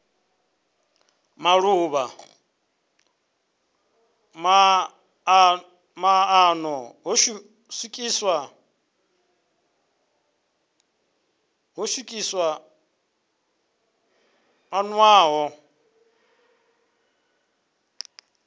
maḓuvha maṱanu ho swikiswa ḽiṅwalo